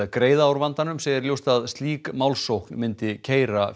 greiða úr vandanum segir ljóst að slík málsókn myndi keyra